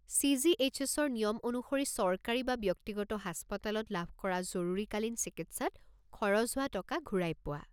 চি.জি.এইচ.এছ.-ৰ নিয়ম অনুসৰি চৰকাৰী বা ব্যক্তিগত হাস্পতালত লাভ কৰা জৰুৰীকালীন চিকিৎসাত খৰচ হোৱা টকা ঘূৰাই পোৱা।